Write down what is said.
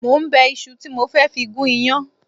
Mo ń bẹ iṣu tí mo fẹ́ fi gún iyán